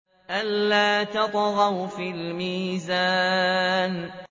أَلَّا تَطْغَوْا فِي الْمِيزَانِ